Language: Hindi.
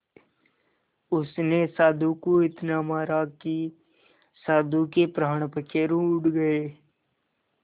उसने साधु को इतना मारा कि साधु के प्राण पखेरु उड़ गए